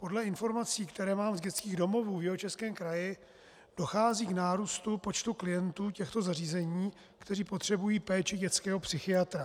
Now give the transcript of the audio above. Podle informací, které mám z dětských domovů v Jihočeském kraji, dochází k nárůstu počtu klientů těchto zařízení, kteří potřebují péči dětského psychiatra.